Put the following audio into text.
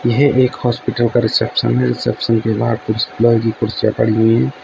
यह एक हॉस्पिटल का रिसेप्शन है रिसेप्शन के बाहर कुछ लोहे की कुर्सियां पड़ी हुई हैं।